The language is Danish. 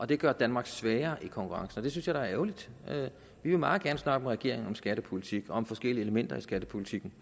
det gør danmark svagere i konkurrencen og det synes jeg da er ærgerligt vi vil meget gerne snakke med regeringen om skattepolitikken og om de forskellige elementer i skattepolitikken